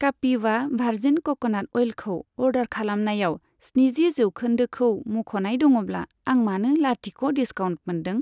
कापिवा भारजिन कक'नाट अइलखौ अर्डार खालामनायाव स्निजि जौखोन्दोखौ मुंख'नाय दङब्ला, आं मानो लाथिख' डिसकाउन्ट मोनदों।